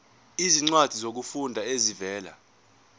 izincwadi zokufunda ezivela